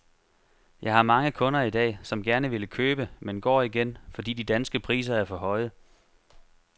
Jeg har mange kunder i dag, som gerne ville købe, men går igen, fordi de danske priser er for høje.